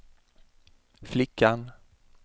flickan